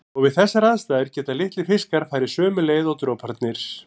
Og við þessar aðstæður geta litlir fiskar farið sömu leið og droparnir.